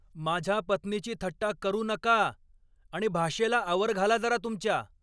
माझ्या पत्नीची थट्टा करू नका! आणि भाषेला आवर घाला जरा तुमच्या!